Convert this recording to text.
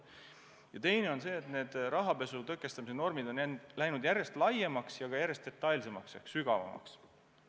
Ja teine asi on see, et need rahapesu tõkestamise normid on läinud järjest ulatuslikumaks ja ka järjest detailsemaks ehk sügavamaks.